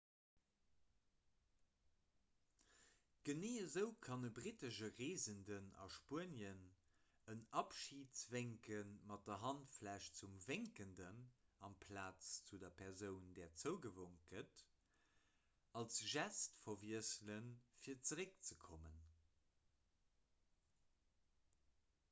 genee esou kann e brittesche reesenden a spuenien en abschidswénken mat der handfläch zum wénkenden amplaz zu der persoun där zougewonk gëtt als gest verwiesselen fir zeréckzekommen